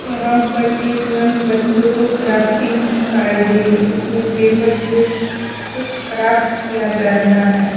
यहां पर एक नन बच्चों को क्राफ्टिंग सिखा रही हैं जिसमें पेपर से कुछ क्राफ्ट किया जा रहा हैं।